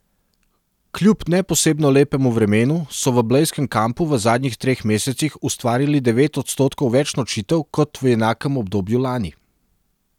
Kljub ne posebno lepemu vremenu so v blejskem kampu v zadnjih treh mesecih ustvarili devet odstotkov več nočitev kot v enakem obdobju lani.